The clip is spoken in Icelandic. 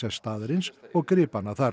staðarins og gripanna þar